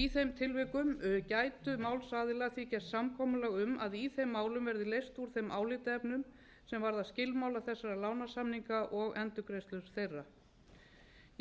í þeim tilvikum gætu málsaðilar því gert samkomulag um að í þeim málum verði leyst úr þeim álitaefnum sem varða skilmála þessara lánasamninga og endurgreiðslur þeirra